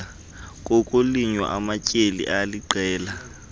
kokulinywa amatyeli aliqela